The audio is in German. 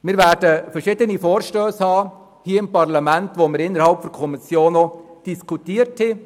Es wird hier im Parlament verschiedene Vorstösse geben, die wir innerhalb der Kommission auch diskutiert hatten.